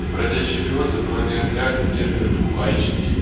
бродячий пес бронеотряд кербер фулл айч ди